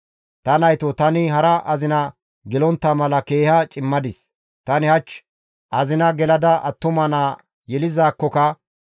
Ta naytoo tani hara azina gelontta mala keeha cimadis; tani hach azina gelada attuma naa yelizaakkoka,